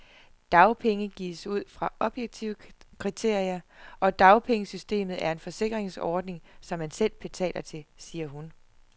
Dagpenge gives ud fra objektive kriterier, og dagpengesystemet er en forsikringsordning, som man selv betaler til, siger hun.